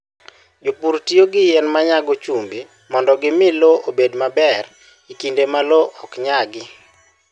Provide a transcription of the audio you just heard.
Jopur tiyo gi yien ma nyago chumbi mondo gimi lowo obed maber e kinde ma lowo ok nyagi.